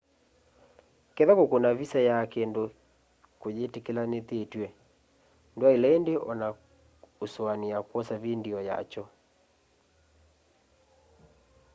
kethwa kukuna visa ya kindu kuyitikilithitw'e ndwaile indi o na usuania kwosa vindio ya kyo